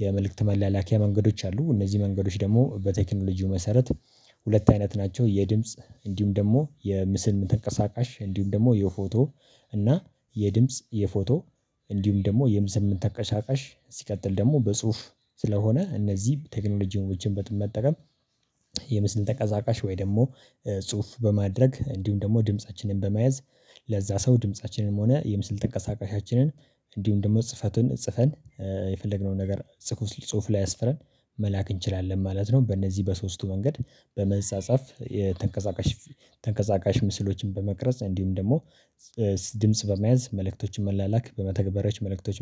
የመልእክት መላለኪያ መንገዶች አሉ። እነዚህ መንገዶች ደግሞ በቴክኖሎጂው መሰረት ሁለት አይነት ናቸው። የድምጽ እንዲሁም ደግሞ የምስል ተንቀሳቃሽ እንዲሁም ደግሞ የፎቶ እና የድምጽ የፎቶ እንዲሁም ደግሞ የምስል ተቀሻቃሽ ሲቀጥል ደግሞ በጽሁፍ ስለሆነ እነዚህ ቴክኖሎጂዎችን በመጠቀም። የምስል ተቀዛቃሽ ወይ ደግሞ ጽሁፍ በማድረግ እንዲሁም ደግሞ ድምፃችንን በመያዝ ለዛ ሰው ድምፃችንንም ሆነ የምስል ተንቀሳቃሻችንን እንዲሁም ደግሞ ጽፈቱን ጽፈን የፈለግነውን ነገር ጽፉ ጽሁፍ ላይ አስፍረን መላክ እንችላለን ማለት ነው። በእነዚህ በሶስቱ መንገድ በመጽጽፍ ተንቀሳቃሽ ተንቀሳቃሽ ምስሎችን በመቅረጽ እንዲሁም ደግሞ ድምጽ በመያዝ መልእክቶችን መላላክ በመተግበሪያዎች መልእክቶች